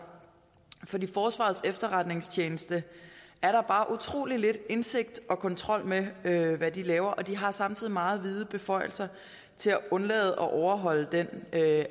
for forsvarets efterretningstjeneste er der bare utrolig lidt indsigt i og kontrol med hvad laver og de har samtidig meget vide beføjelser til at undlade at overholde den